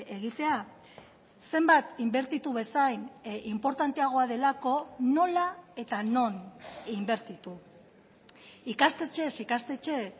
egitea zenbat inbertitu bezain inportanteagoa delako nola eta non inbertitu ikastetxez ikastetxe